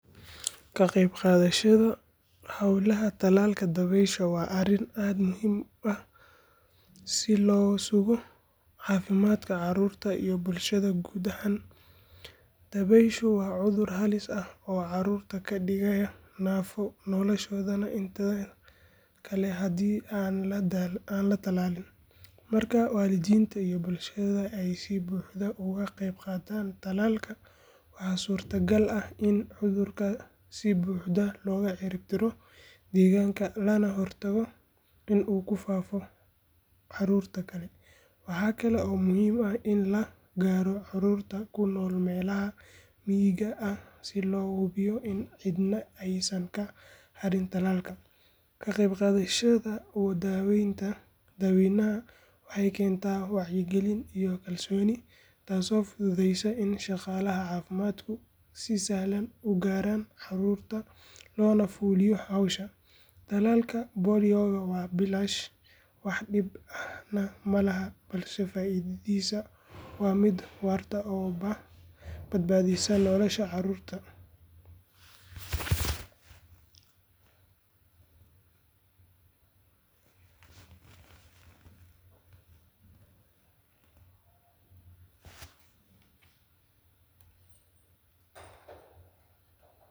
Ka qaybqaadashada hawlaha tallaalka dabaysha waa arrin aad u muhiim ah si loo sugo caafimaadka caruurta iyo bulshada guud ahaan. Dabayshu waa cudur halis ah oo caruurta ka dhigaya naafo noloshooda inteeda kale hadii aan la tallaalin. Marka waalidiinta iyo bulshada ay si buuxda uga qaybqaataan tallaalka, waxaa suurtagal ah in cudurka si buuxda looga ciribtiro deegaanka lagana hortago in uu ku faafo caruurta kale. Waxaa kale oo muhiim ah in la gaaro carruurta ku nool meelaha miyiga ah si loo hubiyo in cidna aysan ka harin tallaalka. Ka qaybqaadashada dadweynaha waxay keentaa wacyigelin iyo kalsooni, taasoo fududeysa in shaqaalaha caafimaadku si sahlan u gaaraan caruurta loona fuliyo hawsha. Tallaalka poliyowga waa bilaash wax dhib ahna malaha, balse faa’iidadiisa waa mid waarta oo badbaadineysa nolosha caruurta.